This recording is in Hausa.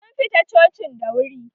Sun fita cocin da wuri